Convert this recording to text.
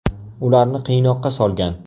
Ularni qiynoqqa solgan.